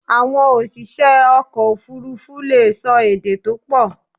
Àwon òsìsẹ́ ọkọ̀ òfurufú leè so èdè to pọ̀